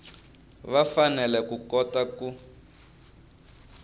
va fanele ku kota ku